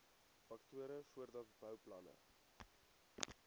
faktore voordat bouplanne